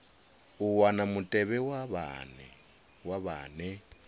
u wana mutevhe wa vhane